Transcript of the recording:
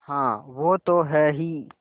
हाँ वो तो हैं ही